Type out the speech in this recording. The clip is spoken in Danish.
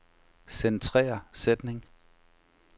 Centrer sætning.